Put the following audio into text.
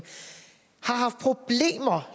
har